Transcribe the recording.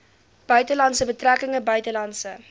buitelandse betrekkinge buitelandse